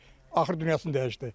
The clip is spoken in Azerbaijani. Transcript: axır dünyasını dəyişdi.